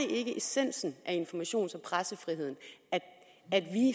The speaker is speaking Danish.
ikke essensen af informations og pressefriheden at vi